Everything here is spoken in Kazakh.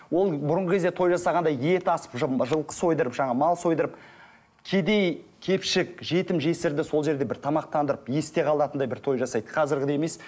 ол бұрынғы кезде той жасағанда ет асып жылқы сойдырып жаңағы мал сойдырып кедей кепшік жетім жесірді сол жерде бір тамақтандырып есте қалатындай бір той жасайды қазіргідей емес